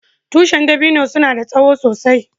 Tushin dabino suna da tsowo sosai.